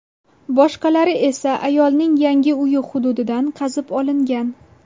Boshqalari esa ayolning yangi uyi hududidan qazib olingan.